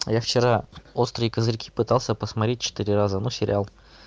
я вчера острые козырьки пытался посмотреть четыре раза но сериал